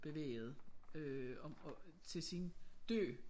Bevæget øh og til sin død